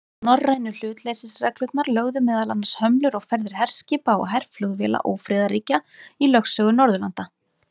Norrænu hlutleysisreglurnar lögðu meðal annars hömlur á ferðir herskipa og herflugvéla ófriðarríkja í lögsögu Norðurlanda.